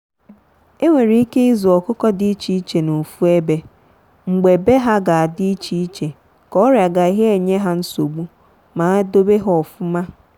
e nwere ike ịzụ ọkụkọ dị iche iche n'ofu ebe mgbe be ha ga-adi iche iche ka ọria gaghị enye ha nsogbu ma dobe ha ofụma.